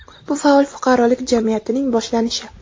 bu faol fuqarolik jamiyatining boshlanishi.